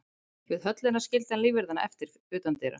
Við höllina skildi hann lífverðina eftir utan dyra.